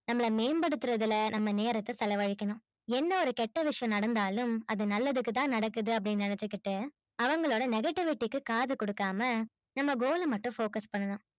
நம்மள மேம்படுதுரதுல நம்ம நேரத்த செலவழிக்கனும் என்ன ஒரு கேட்ட விஷயம் நடந்தாலும் அது நல்லதுக்கு தான் நடக்குது அப்பிடின்னு நெனச்சிக்கிட்டு அவங்களோட negativity க்கு காது கொடுக்காம நம்ம goal மட்டும் focus பண்ணனும்